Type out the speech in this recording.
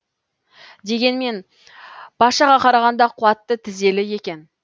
дегенмен пашаға қарағанда қуатты тізелі екен